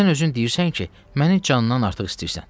Sən özün deyirsən ki, məni candan artıq istəyirsən.